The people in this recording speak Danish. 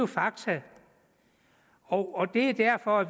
fakta og det er derfor